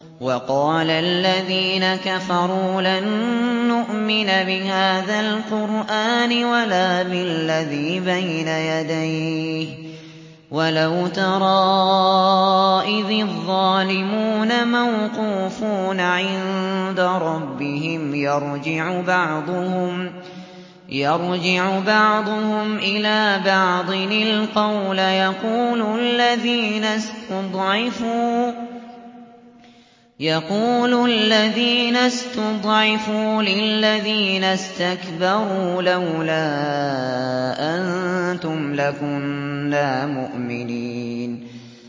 وَقَالَ الَّذِينَ كَفَرُوا لَن نُّؤْمِنَ بِهَٰذَا الْقُرْآنِ وَلَا بِالَّذِي بَيْنَ يَدَيْهِ ۗ وَلَوْ تَرَىٰ إِذِ الظَّالِمُونَ مَوْقُوفُونَ عِندَ رَبِّهِمْ يَرْجِعُ بَعْضُهُمْ إِلَىٰ بَعْضٍ الْقَوْلَ يَقُولُ الَّذِينَ اسْتُضْعِفُوا لِلَّذِينَ اسْتَكْبَرُوا لَوْلَا أَنتُمْ لَكُنَّا مُؤْمِنِينَ